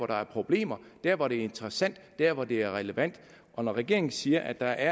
der er problemer der hvor det er interessant der hvor det er relevant og når regeringen siger at der